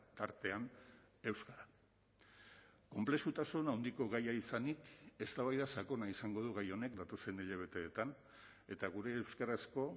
tartean euskara konplexutasun handiko gaia izanik eztabaida sakona izango du gai honek datozen hilabeteetan eta gure euskarazko